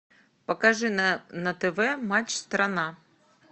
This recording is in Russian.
покажи на тв матч страна